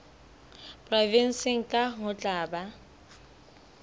provenseng kang ho tla ba